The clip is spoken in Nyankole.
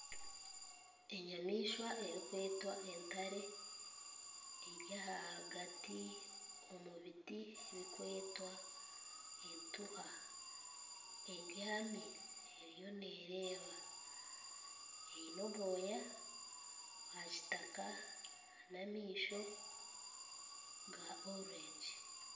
Enyamaishwa erikwetwa entare eri ahagati omu biti bikwetwa etuuha ebyami eriyo neereeba aine obwoya bwa kitaaka n'amaisho ga orurengi.